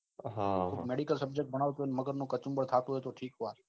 medical શબ્દ આવી મગજ નો કચુબર થતું હોય ત્યો ઠીક વાત